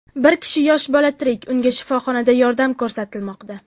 Bir kishi yosh bola tirik, unga shifoxonada yordam ko‘rsatilmoqda.